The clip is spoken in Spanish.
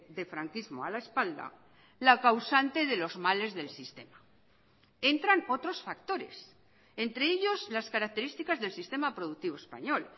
de franquismo a la espalda la causante de los males del sistema entran otros factores entre ellos las características del sistema productivo español